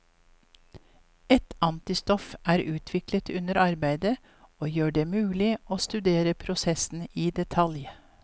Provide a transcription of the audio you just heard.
Et antistoff er utviklet under arbeidet, og gjør det mulig å studere prosessen i detalj.